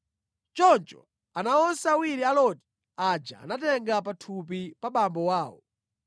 Choncho ana onse awiri a Loti aja anatenga pathupi pa abambo awo.